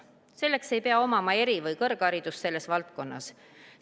Selleks ei pea omama eri- või kõrgharidust selles valdkonnas.